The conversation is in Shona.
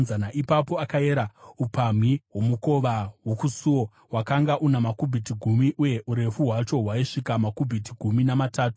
Ipapo akayera upamhi hwomukova wokusuo; wakanga una makubhiti gumi uye urefu hwacho hwaisvika makubhiti gumi namatatu.